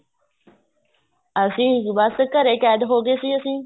ਅਸੀਂ ਬੱਸ ਘਰੇ ਕੈਦ ਹੋ ਗਏ ਸੀ ਅਸੀਂ